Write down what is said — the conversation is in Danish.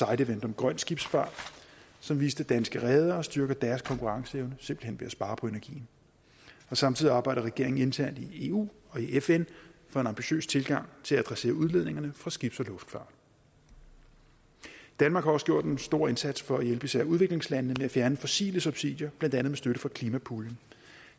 event om grøn skibsfart som viste at danske redere styrker deres konkurrenceevne simpelt hen ved at spare på energien samtidig arbejder regeringen internt i eu og i fn for en ambitiøs tilgang til at adressere udledningerne fra skibs og luftfart danmark har også gjort en stor indsats for at hjælpe især udviklingslandene med at fjerne fossile subsidier blandt andet med støtte fra klimapuljen